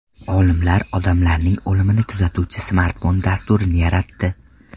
Olimlar odamlarning o‘limini kuzatuvchi smartfon dasturini yaratdi.